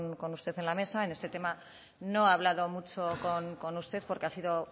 con usted en la mesa en este tema no he hablado mucho con usted porque ha sido